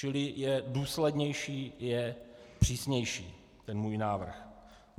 Čili je důslednější, je přísnější ten můj návrh.